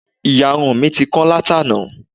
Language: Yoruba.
Ìyarun mi ti kán látàná